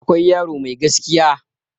akwai yaro Mai gaskiya